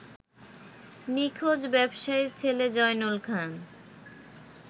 নিখোঁজ ব্যবসায়ীর ছেলে জয়নুল খান